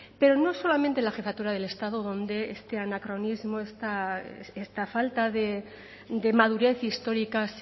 pero no solamente la jefatura del estado donde este anacronismo esta falta de madurez histórica